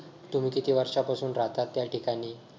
तुम्ही किती वर्षांपासून राहतात त्या ठिकाणी.